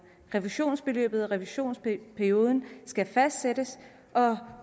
refusionsbeløbet og revisionperioden skal fastsættes og